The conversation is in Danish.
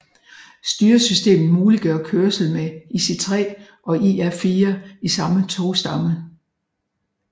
Styresystemet muliggør kørsel med IC3 og IR4 i samme togstamme